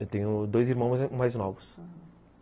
Eu tenho dois irmãos mais novos, aham.